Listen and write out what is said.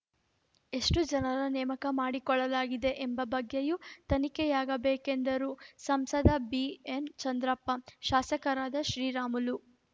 ಎಷ್ಟುಜನರ ನೇಮಕ ಮಾಡಿಕೊಳ್ಳಲಾಗಿದೆ ಎಂಬ ಬಗ್ಗೆಯೂ ತನಿಖೆಯಾಗಬೇಕೆಂದರು ಸಂಸದ ಬಿಎನ್‌ಚಂದ್ರಪ್ಪ ಶಾಸಕರಾದ ಶ್ರೀರಾಮುಲು